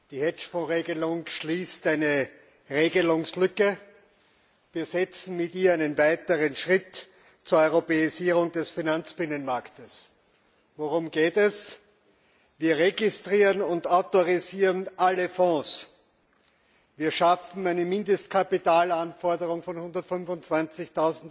Die Hedgefonds Regelung schließt eine Regelungslücke. Wir setzen mit ihr einen weiteren Schritt zur Europäisierung des Finanzbinnenmarktes. Worum geht es? Wir registrieren und autorisieren alle Fonds. Wir schaffen eine Mindestkapitalanforderung von 125